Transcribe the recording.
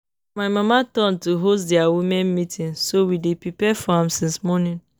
Na my mama turn to host their women meeting so we dey prepare for am since morning